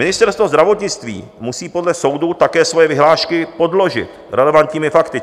Ministerstvo zdravotnictví musí podle soudu také svoje vyhlášky podložit relevantními fakty.